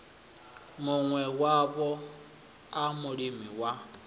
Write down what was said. muṋe wayo a mulimi wa